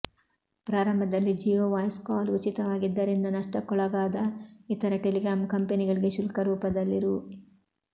ಪ್ರಾರಂಭದಲ್ಲಿ Jio voice call ಉಚಿತವಾಗಿದ್ದರಿಂದ ನಷ್ಟಕ್ಕೊಳಗಾದ ಇತರ ಟೆಲಿಕಾಂ ಕಂಪೆನಿಗಳಿಗೆ ಶುಲ್ಕ ರೂಪದಲ್ಲಿ ರೂ